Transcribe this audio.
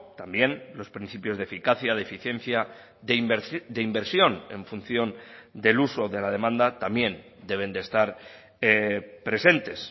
también los principios de eficacia de eficiencia de inversión en función del uso de la demanda también deben estar presentes